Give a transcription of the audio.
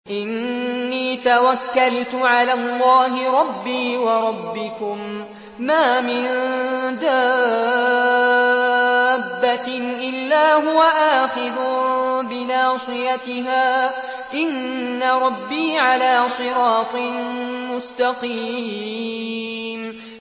إِنِّي تَوَكَّلْتُ عَلَى اللَّهِ رَبِّي وَرَبِّكُم ۚ مَّا مِن دَابَّةٍ إِلَّا هُوَ آخِذٌ بِنَاصِيَتِهَا ۚ إِنَّ رَبِّي عَلَىٰ صِرَاطٍ مُّسْتَقِيمٍ